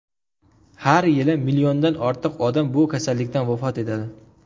Har yili milliondan ortiq odam bu kasallikdan vafot etadi.